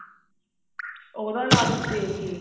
ਉਹਦਾ ਲਾਲਚ ਦੇਕੇ